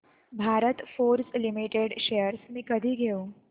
Bharat forge limited shares मी कधी घेऊ